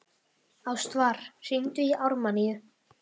Ástvar, hringdu í Ármanníu.